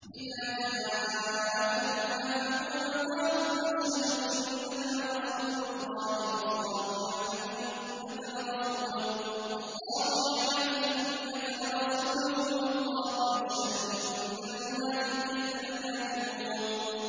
إِذَا جَاءَكَ الْمُنَافِقُونَ قَالُوا نَشْهَدُ إِنَّكَ لَرَسُولُ اللَّهِ ۗ وَاللَّهُ يَعْلَمُ إِنَّكَ لَرَسُولُهُ وَاللَّهُ يَشْهَدُ إِنَّ الْمُنَافِقِينَ لَكَاذِبُونَ